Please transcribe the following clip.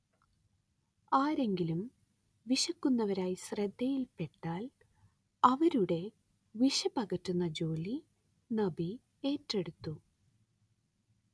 ആരെങ്കിലും വിശക്കുന്നവരായി ശ്രദ്ധയിൽപ്പെട്ടാൽ അവരുടെ വിശപ്പ് അകറ്റുന്ന ജോലി നബി ഏറ്റെടുത്തു